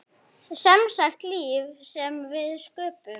Semsagt líf sem við sköpum.